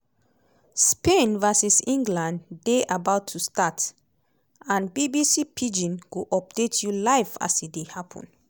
spain vs england dey about to start and bbc pidgin go update you live as e dey happun.